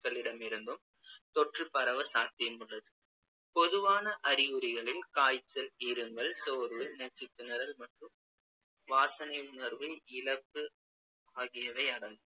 மக்களிடமிருந்தும் தொற்று பரவ சாத்தியமுள்ளது பொதுவான அறிகுறிகளில் காய்ச்சல், இருமல், சோர்வு, மூச்சுத் திணறல் மற்றும் வாசனை உணர்வு இழப்பு ஆகியவை அடங்கும்